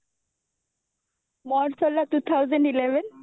ମୋର ସରିଲା two thousand eleven